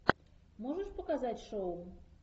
можешь показать шоу